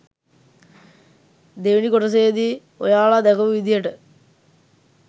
දෙවෙනි කොටසේදී ඔයාලා දැකපු විදියට